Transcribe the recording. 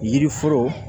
Yiri foro